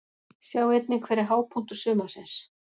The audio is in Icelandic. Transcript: Sjá einnig: Hver er hápunktur sumarsins?